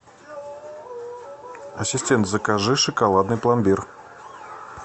ассистент закажи шоколадный пломбир